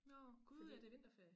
Nårh Gud er det vinterferie